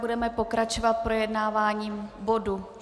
Budeme pokračovat projednáváním bodu